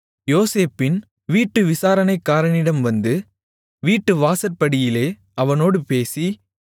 யோசேப்பின் வீட்டு விசாரணைக்காரனிடம் வந்து வீட்டு வாசற்படியிலே அவனோடு பேசி